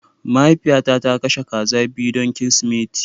Mahaifiyata ta kashe kaza biyu don Kirsimeti